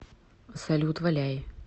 салют валяй